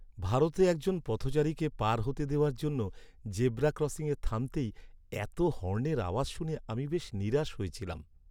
ভারতে একজন পথচারীকে পার হতে দেওয়ার জন্য জেব্রা ক্রসিংয়ে থামতেই এতো হর্নের আওয়াজ শুনে আমি বেশ নিরাশ হয়েছিলাম!